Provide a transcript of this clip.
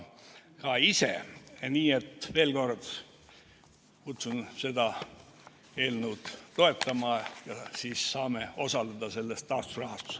Nii et veel kord, kutsun seda eelnõu toetama ja siis saame osaleda selles taasterahastus.